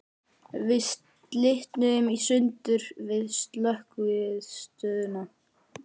Við slitnuðum í sundur við Slökkvistöðina.